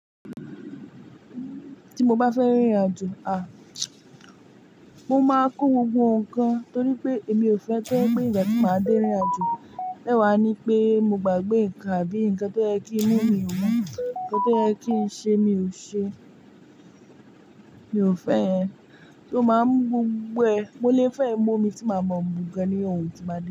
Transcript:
Ti mo bá fẹ́ rin ìrìn-àjò, mo máa kó gbogbo nǹkan torí pé emi ò fẹ́ to jẹ́ pè igba ti máa dé rìn-àjò ẹ́wàá ni pé mo gbà gbé nǹkan, àbí nǹkan tó yẹ kí n mú, mi ò mú, nǹkan tó yẹ kí ń ṣe mi ò ṣe. Mi ò fẹ́ ẹ. So, máa mú gbogbo ẹ̀, mo le fẹ́ mú omi tí máa mọ́n mun gan ní ohun tí ba de.